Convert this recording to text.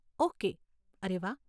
Okay, અરે વાહ.